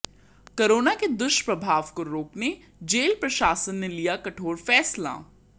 corona के दुष्प्रभाव को रोकने जेल प्रशासन ने लिया कठोर फैसला